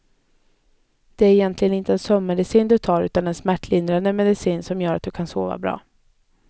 Det är ju egentligen inte en sömnmedicin du tar utan en smärtlindrande medicin, som gör att du kan sova bra.